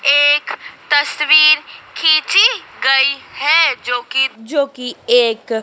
एक तस्वीर खींची गई है जोकि जोकि एक--